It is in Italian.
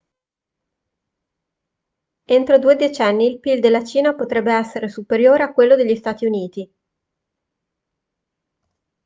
entro due decenni il pil della cina potrebbe essere superiore a quello degli stati uniti